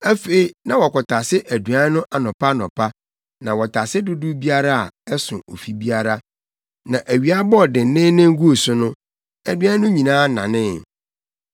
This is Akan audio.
Afei na wɔkɔtase aduan no anɔpa anɔpa, na wɔtase dodow biara a, ɛso ofi biara. Na awia bɔɔ denneennen guu so no, aduan no nyinaa nanee.